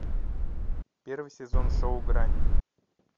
первый сезон шоу грань